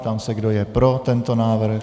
Ptám se, kdo je pro tento návrh.